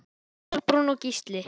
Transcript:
Kolbrún og Gísli.